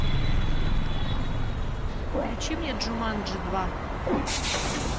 включи мне джуманджи два